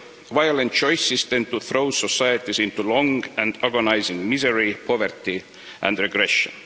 Violent choices tend to throw societies into long and agonising misery, poverty and aggression.